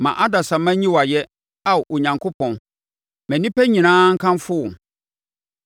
Ma adasamma nyi wo ayɛ, Ao Onyankopɔn; ma nnipa nyinaa nkamfo wo!